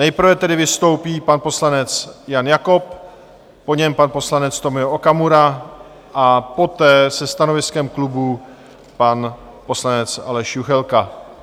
Nejprve tedy vystoupí pan poslanec Jan Jakob, po něm pan poslanec Tomio Okamura a poté se stanoviskem klubu pan poslanec Aleš Juchelka.